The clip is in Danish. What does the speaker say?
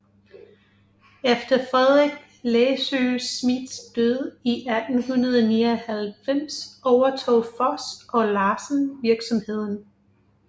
Efter Frederik Læssøe Smidths død i 1899 overtog Foss og Larsen virksomheden